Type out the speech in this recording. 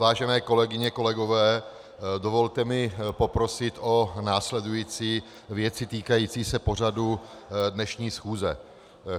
Vážené kolegyně, kolegové, dovolte mi poprosit o následující věci týkající se pořadu dnešní schůze.